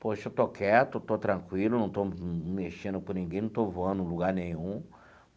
Poxa, eu estou quieto, estou tranquilo, não estou mexendo com ninguém, não estou voando em lugar nenhum.